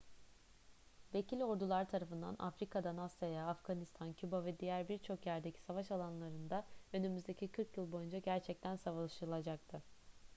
vekil ordular tarafından afrika'dan asya'ya afganistan küba ve diğer birçok yerdeki savaş alanlarında önümüzdeki 40 yıl boyunca gerçekten savaşılacaktı